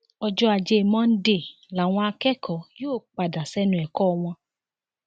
ọjọ ajé monde làwọn akẹkọọ yóò padà sẹnu ẹkọ wọn